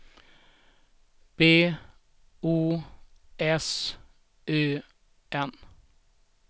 B O S Ö N